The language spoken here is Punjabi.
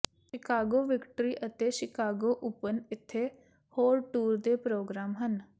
ਸ਼ਿਕਾਗੋ ਵਿਕਟਰੀ ਅਤੇ ਸ਼ਿਕਾਗੋ ਓਪਨ ਇੱਥੇ ਹੋਰ ਟੂਰ ਦੇ ਪ੍ਰੋਗਰਾਮ ਹਨ